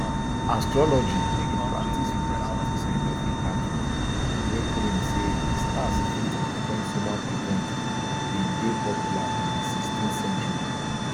astrology a practice without scientific backing wey claim say di stars fit influence human events bin dey popular in di sixteenth century